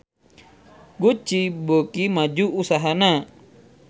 Gucci beuki maju usahana